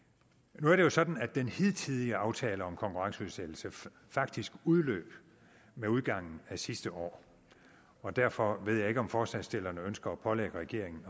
nu er det jo sådan at den hidtidige aftale om konkurrenceudsættelse faktisk udløb med udgangen af sidste år og derfor ved jeg ikke om forslagsstillerne ønsker at pålægge regeringen